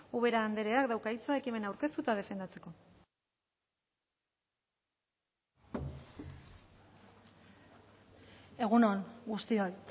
ubera andreak dauka hitza ekimena aurkeztu eta defendatzeko egun on guztioi